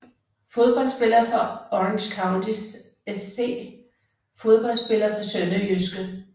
Fodboldspillere fra Orange County SC Fodboldspillere fra SønderjyskE